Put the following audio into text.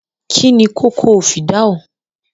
Kín ni kòkò o fìdáù?